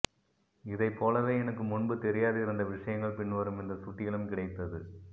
இதைப்போலவே எனக்கு முன்பு தெரியாதிருந்த விஷயங்கள் பின்வரும் இந்த சுட்டியிலும் கிடைத்தது